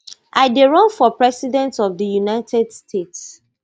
i dey run for president of di united states